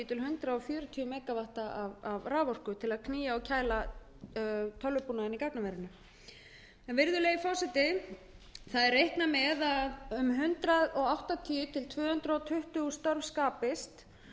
hundrað fjörutíu mega vöttum af raforku til að knýja og kæla tölvubúnaðinn í gagnaverinu virðulegi forseti reiknað er með að um hundrað áttatíu til tvö hundruð tuttugu störf skapist